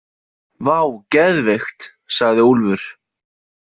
Vá, geðveikt, sagði Úlfur.